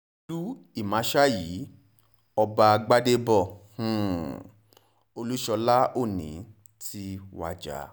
olú ìmásáyí ọba gbadèbọ um olúṣọlá òní ti wájà